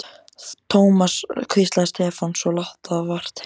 Thomas hvíslaði Stefán, svo lágt að vart heyrðist.